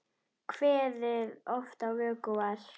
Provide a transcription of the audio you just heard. Kveðið oft á vöku var.